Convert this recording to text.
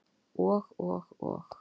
Og, og og.